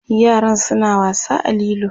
yaran suna wasa a lilo